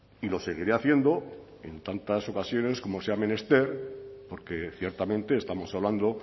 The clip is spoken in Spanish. y lo seguiré haciendo en tantas ocasiones como sea menester porque ciertamente estamos hablando